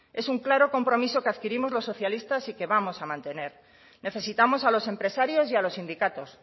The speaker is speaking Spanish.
es un claro compromiso que adquirimos los socialistas y que vamos a mantener necesitamos a los empresarios y a los sindicatos